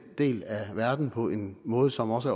del af verden på en måde som også